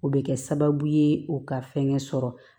O bɛ kɛ sababu ye u ka fɛn sɔrɔ